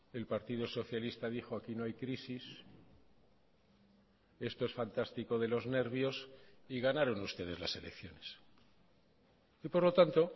el partido socialista dijo aquí no hay crisis esto es fantástico de los nervios y ganaron ustedes las elecciones y por lo tanto